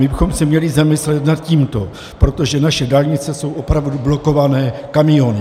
My bychom se měli zamyslet nad tímto, protože naše dálnice jsou opravdu blokované kamiony.